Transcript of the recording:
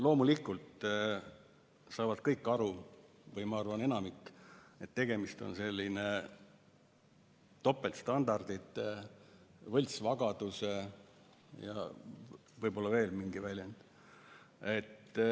Loomulikult saavad kõik aru või ma arvan, et enamik saab aru, et tegemist on topeltstandardite või võltsvagadusega, võib-olla on veel mingi väljend.